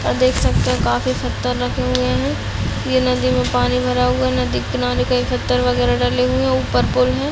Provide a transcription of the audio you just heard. और देख सकते है की काफी पत्थर रखे हुए है ये नदी में पानी भरा हुआ नदी इतना पत्थर वगैरह डले हुए है ऊपर पूल है।